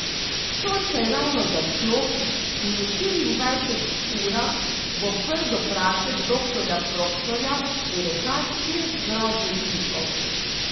Sonce je ravno zašlo in v štiriindvajsetih urah bo Prdoprašek Doktorja Proktorja v rokah treh groznih tipov.